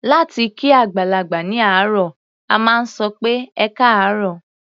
Láti kí àgbàlagbà ní àárọ̀, a máa sọ pé "ẹkáàárọ̀".